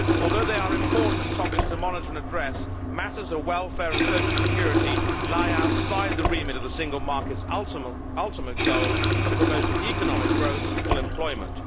Although they are important topics to monitor and address, matters of welfare and social security lie outside the remit of the Single Market's ultimate goal of promoting economic growth and full employment.